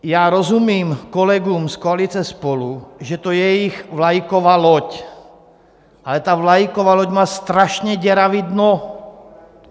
Já rozumím kolegům z koalice SPOLU, že to je jejich vlajková loď, ale ta vlajková loď má strašně děravé dno.